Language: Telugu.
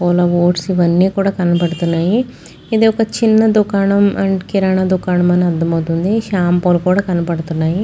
ఓట్స్ ఇవన్నీ కూడా కనబడుతున్నాయి. ఇది ఒక చిన్న దుకాణం అండ్ కిరణ్ దుకాణం అని అర్థం అవుతుంది. షాంపూ లు కూడా కనపడుతున్నాయి.